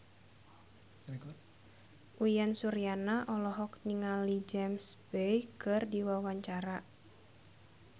Uyan Suryana olohok ningali James Bay keur diwawancara